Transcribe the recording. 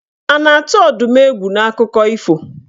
A na-atụ Ọdụm egwu n'akụkọ ifo?